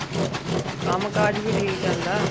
ਕੰਮ ਕਾਜ ਵੀ ਠੀਕ ਚੱਲਦਾ।